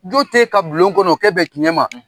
Jo t'e ka bulon kɔnɔ o kɛ bɛn tiɲɛ ma.